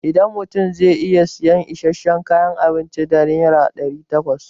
A da mutum zai iya sayan isasshen kayan abinci da naira ɗari takwas.